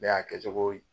Ne y'a kɛcogo ye